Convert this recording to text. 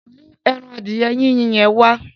Mú ẹran adìẹ Yínyin yẹn wá.